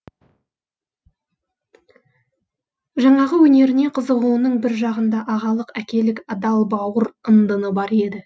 жаңағы өнеріне қызығуының бір жағында ағалық әкелік адал бауыр ындыны бар еді